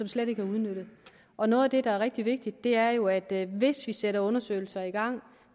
slet ikke er udnyttet og noget af det der er rigtig vigtigt er jo at hvis vi sætter undersøgelser i gang